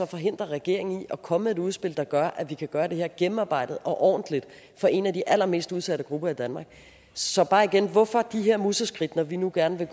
forhindrer regeringen i at komme med et udspil der gør at vi kan gøre det her gennemarbejdet og ordentligt for en af de allermest udsatte grupper i danmark så bare igen hvorfor de her museskridt når vi nu gerne